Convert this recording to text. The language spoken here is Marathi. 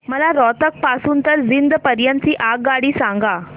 मला रोहतक पासून तर जिंद पर्यंत ची आगगाडी सांगा